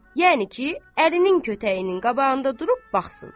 Yəni ki, əlinin kötəyinin qabağında durub baxsın.